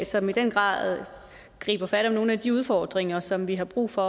som i den grad griber fat om nogle af de udfordringer som vi har brug for